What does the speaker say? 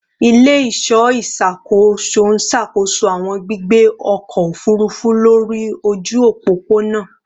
Ile-iṣọ iṣakoso n ṣakoso awọn gbigbe ọkọ ofurufu lori oju opopona